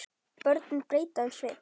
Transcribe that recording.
Börnin breyta um svip.